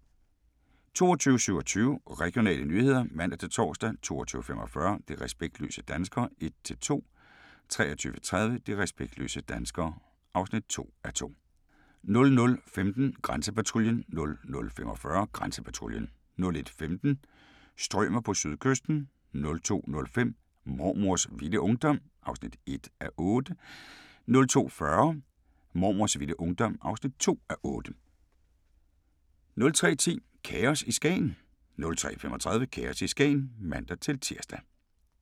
22:27: Regionale nyheder (man-tor) 22:45: De respektløse danskere (1:2) 23:30: De respektløse danskere (2:2) 00:15: Grænsepatruljen 00:45: Grænsepatruljen 01:15: Strømer på sydkysten 02:05: Mormors vilde ungdom (1:8) 02:40: Mormors vilde ungdom (2:8) 03:10: Kaos i Skagen 03:35: Kaos i Skagen (man-tir)